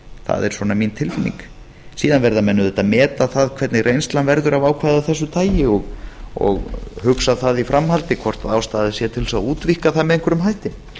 það er svona mín tilfinning síðan verða menn auðvitað að meta það hvernig reynslan verður af ákvæði af þessu tagi og hugsa það í framhaldi hvort ástæða sé til þess að útvíkka það með einhverjum hætti